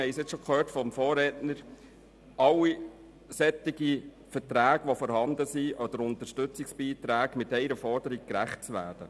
Wie wir schon von meinem Vorredner gehört haben, ist es schwierig, allen derartigen Verträgen oder Unterstützungsbeiträgen gerecht zu werden.